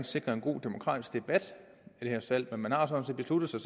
sikre en god demokratisk debat det her salg men man har sådan set besluttet sig